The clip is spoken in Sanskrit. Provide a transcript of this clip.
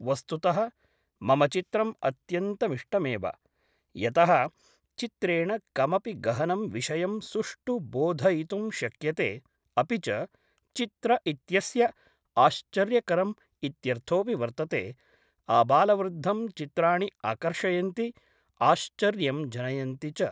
वस्तुतः मम चित्रम् अत्यन्तमिष्टमेव यतः चित्रेण कमपि गहनं विषयं सुष्ठु बोधयितुं शक्यते अपि च चित्र इत्यस्य आश्चर्यकरम् इत्यर्थोपि वर्तते आबालवृद्धं चित्राणि आकर्षयन्ति आश्चर्यं जनयन्ति च